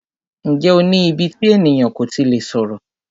Ǹjẹ́ o ní íbí tí ènìyàn kò tí lè sọ̀rọ̀?